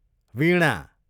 वीणा